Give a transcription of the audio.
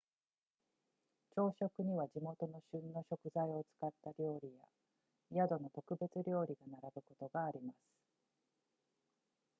朝食には地元の旬の食材を使った料理や宿の特別料理が並ぶことがあります